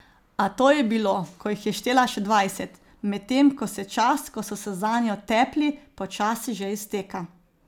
A to je bilo, ko jih je štela še dvajset, medtem ko se čas, ko so se zanjo tepli, počasi že izteka.